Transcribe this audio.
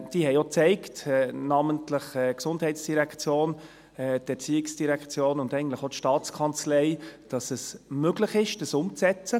Diese haben auch gezeigt – namentlich die GEF, die ERZ und eigentlich auch die STA –, dass es möglich ist, sie umzusetzen.